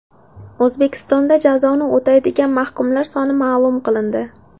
O‘zbekistonda jazoni o‘tayotgan mahkumlar soni ma’lum qilindi.